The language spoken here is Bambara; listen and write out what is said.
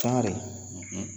cogodi?